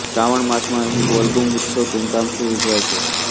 શ્રાવણ માસમાં અહીં બોલબુમ ઉત્સવ ધામધૂમથી ઉજવાય છે